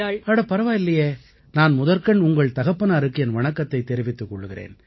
அட பரவாயில்லையே நான் முதற்கண் உங்கள் தகப்பனாருக்கு என் வணக்கத்தைத் தெரிவித்துக் கொள்கிறேன்